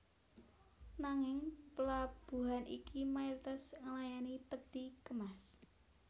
Nanging plabuhan iki mayoritas nglayani peti kemas